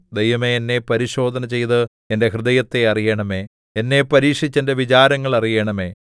ദൈവമേ എന്നെ പരിശോധന ചെയ്ത് എന്റെ ഹൃദയത്തെ അറിയണമേ എന്നെ പരീക്ഷിച്ച് എന്റെ വിചാരങ്ങൾ അറിയണമേ